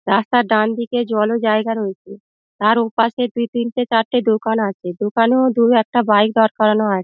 রাস্তার ডান দিকে জল ও জায়গা রয়েছে। তার ও পাশে দুই তিনটে চারটে দোকান আছে দোকানেও দুই একটি বাইক দাঁড় করানো আছে।